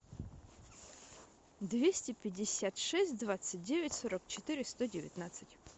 двести пятьдесят шесть двадцать девять сорок четыре сто девятнадцать